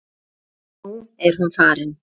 Nú er hún farin.